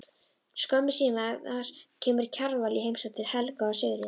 Skömmu síðar kemur Kjarval í heimsókn til Helga og Sigríðar.